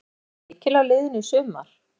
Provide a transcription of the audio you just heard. Er pressan mikil á liðinu í sumar?